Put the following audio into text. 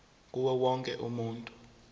kuwo wonke umuntu